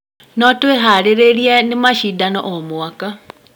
No twĩharĩrĩria nĩ macindano o mwaka.